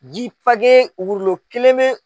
Ji page wurulo kelen bɛ